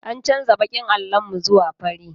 An canja baƙin allon mu zuwa fari